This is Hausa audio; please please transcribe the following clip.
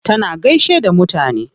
Tana gaishe da mutane.